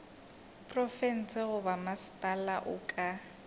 profense goba mmasepala o ka